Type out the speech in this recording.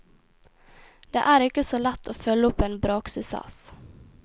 Det er ikke så lett å følge opp en braksuksess.